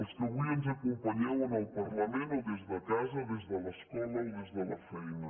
els que avui ens acompanyeu en el parlament o des de casa des de l’escola o des de la feina